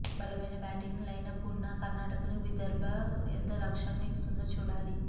బలమైన batting lineup ఉన్న కర్నాటకకు విదర్భ ఎంత లక్ష్యాన్ని ఇస్తుందో చూడాలి